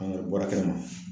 An a bɔra kɛnɛma